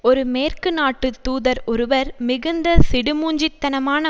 ஒரு மேற்கு நாட்டு தூதர் ஒருவர் மிகுந்த சிடுமூஞ்சி தனமான